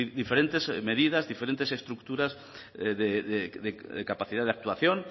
diferentes medidas diferentes estructuras de capacidad de actuación